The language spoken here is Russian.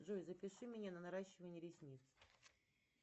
джой запиши меня на наращивание ресниц